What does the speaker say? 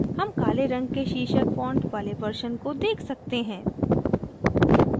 हम काले रंग के शीर्षक font वाले version को देख सकते है